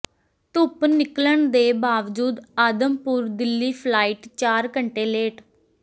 ਧੁੱਪ ਨਿਕਲਣ ਦੇ ਬਾਵਜੂਦ ਆਦਮਪੁਰ ਦਿੱਲੀ ਫਲਾਈਟ ਚਾਰ ਘੰਟੇ ਲੇਟ